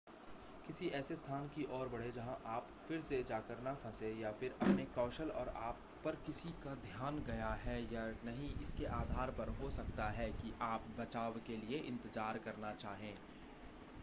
किसी ऐसे स्थान की ओर बढ़ें जहां आप फिर से जाकर न फंसें या फिर अपने कौशल और आप पर किसी का ध्यान गया है या नहीं इसके आधार पर हो सकता है कि आप बचाव के लिए इंतज़ार करना चाहें